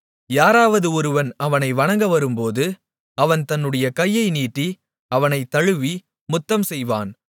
யாராவது ஒருவன் அவனை வணங்கவரும்போது அவன் தன்னுடைய கையை நீட்டி அவனைத் தழுவி முத்தம் செய்வான்